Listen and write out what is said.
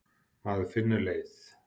Maður finnur leið.